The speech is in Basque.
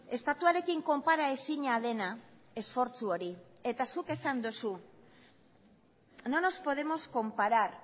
estatuarekin konparaezina dena esfortzu hori eta zuk esan duzu no nos podemos comparar